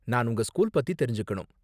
நான் உங்க ஸ்கூல் பத்தி தெரிஞ்சுக்கணும்.